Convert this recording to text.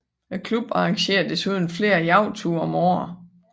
Klubben arrangerer desuden flere jagtture om året